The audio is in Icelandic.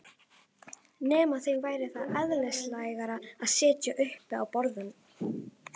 Nema þeim væri það eðlislægara að sitja uppi á borðum?